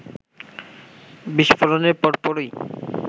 বিস্ফোরণের পরপরই